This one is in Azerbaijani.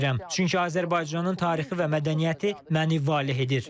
Çünki Azərbaycanın tarixi və mədəniyyəti məni valeh edir.